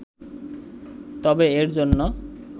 তবে এর জন্য